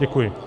Děkuji.